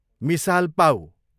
मिसाल पाउ